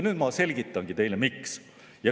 Nüüd ma selgitangi teile, miks.